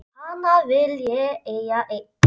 Hana vil ég eiga ein.